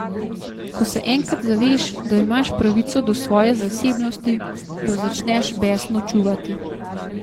Ko se enkrat zaveš, da imaš pravico do svoje zasebnosti, jo začneš besno čuvati.